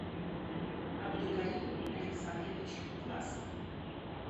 абдукарим александрович власов